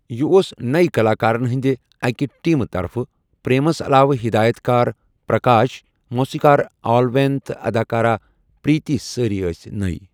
یہ اوس نٮٔی کلاکارَن ہٕنٛدِ اَکہِ ٹیمہِ طرفہٕ، پریمَس علاوٕ ہدایت کار پرکاش، موسیقار آل وین تہٕ اداکارہ پریتی سٲرِی ٲس نٮٔی۔